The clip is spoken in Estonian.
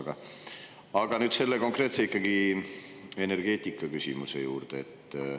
Aga nüüd ikkagi selle konkreetse energeetikaküsimuse juurde.